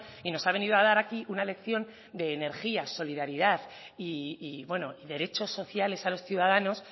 y nos ha venido a dar aquí una lección de energía solidaridad y bueno derechos sociales a los ciudadanos